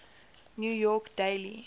new york daily